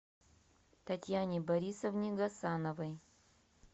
татьяне борисовне гасановой